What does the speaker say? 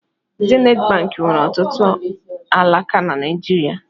Zenit bank nwere ọtụtụ alaka na Naịjirịa.